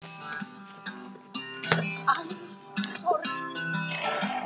En samt einhvern veginn verst þetta sem Sigríður sagði.